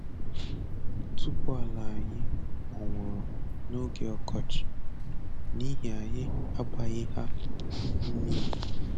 Otuboala anyị kpọnwụrụ n'oge ọkọchị n'ihi anyị agbaghị ha mmiri